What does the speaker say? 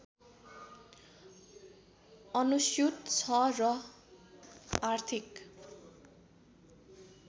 अनुस्यूत छ र आर्थिक